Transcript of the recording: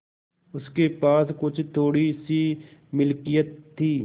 उसके पास कुछ थोड़ीसी मिलकियत थी